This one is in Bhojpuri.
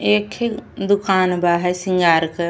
एक ही दुकान बा है सिंगार क।